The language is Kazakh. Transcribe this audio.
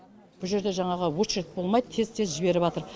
бұл жерде жаңағы очередь болмайды тез тез